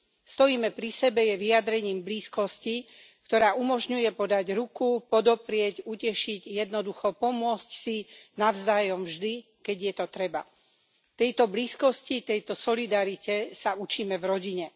Stojíme pri sebe je vyjadrením blízkosti, ktorá umožňuje podať ruku, podoprieť, utešiť, jednoducho pomôcť si navzájom vždy, keď je to potrebné. Tejto blízkosti, tejto solidarite sa učíme v rodine.